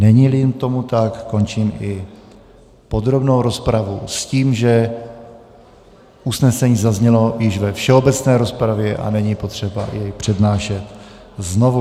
Není-li tomu tak, končím i podrobnou rozpravu s tím, že usnesení zaznělo již ve všeobecné rozpravě a není potřeba jej přednášet znovu.